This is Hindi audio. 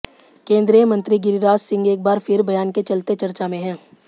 केंद्रीय मंत्री गिरिराज सिंह एक बार फिर बयान के चलते चर्चा में हैं